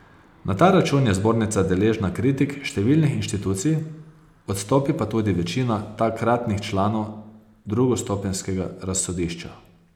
Na ta račun je zbornica deležna kritik številnih inštitucij, odstopi pa tudi večina takratnih članov drugostopenjskega razsodišča.